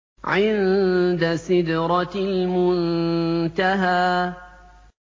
عِندَ سِدْرَةِ الْمُنتَهَىٰ